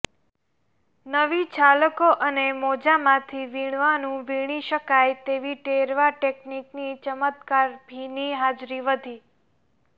નવી છાલકો અને મોજાંમાંથી વીણવાનું વીણી શકાય તેવી ટેરવા ટેક્નીકની ચમત્કારભીની હાજરી વધી